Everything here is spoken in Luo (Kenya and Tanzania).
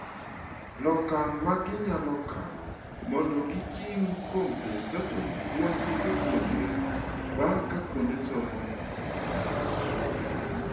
Lokang' ma ginyalo kawo mondo gichiu compensatory puonj ne jopuonjre bang' ka kuonde somo oyaw.